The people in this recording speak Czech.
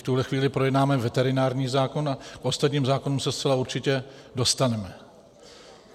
V tuhle chvíli projednáme veterinární zákon a k ostatním zákonům se zcela určitě dostaneme.